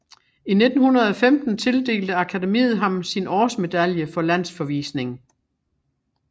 I 1915 tildelte Akademiet ham sin årsmedalje for Landsforvisning